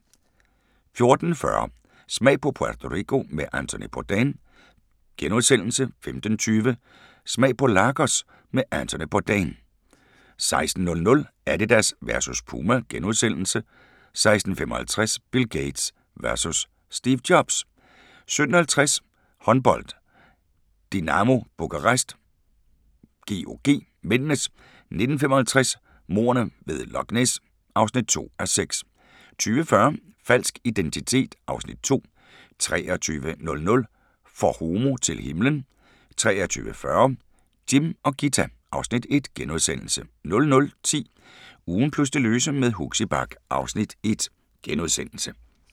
14:40: Smag på Puerto Rico med Anthony Bourdain * 15:20: Smag på Lagos med Anthony Bourdain 16:00: Adidas versus Puma * 16:55: Bill Gates versus Steve Jobs 17:50: Håndbold: Dinamo Bukarest-GOG (m) 19:55: Mordene ved Loch Ness (2:6) 20:40: Falsk identitet (Afs. 2) 23:00: For homo til himlen 23:40: Jim og Ghita (Afs. 1)* 00:10: Ugen plus det løse med Huxi Bach (Afs. 1)*